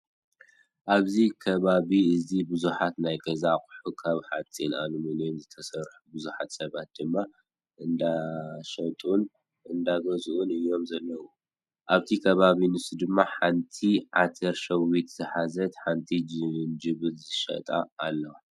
ኣብዚ ከቢቢ እዚ ብዙሓት ናይ ገዛ ኣቁሑት ካብ ሓፂን ኣሉሙኔም ዝተሰርሑን ብዙሓት ሰባት ድማ እንዳሸጡን እንዳገዙኡን እዮም ዘለው። ኣብቲ ከባቢ ንሱ ድማ ሓቲ ዓተር ሸዊት ዝሓዘትን ሓቲ ጅንጅብል ዝሸጣ ኣለዋ።